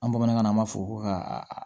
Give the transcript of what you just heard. An bamanankan na an b'a fɔ ko ka